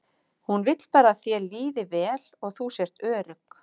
Hún vill bara að þér líði vel og sért örugg.